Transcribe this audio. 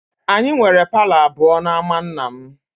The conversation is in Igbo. Anyị nwere palọ abụọ n'ámá nna m